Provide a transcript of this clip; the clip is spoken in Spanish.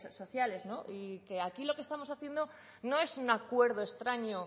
sociales y que aquí lo que estamos haciendo no es un acuerdo extraño